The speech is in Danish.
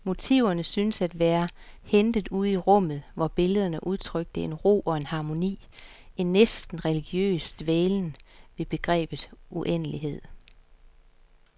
Motiverne syntes at være hentet ude i rummet, hvor billederne udtrykte en ro og en harmoni, en næsten religiøs dvælen ved begrebet uendelighed.